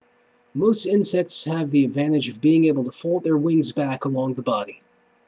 most insects have the advantage of being able to fold their wings back along the body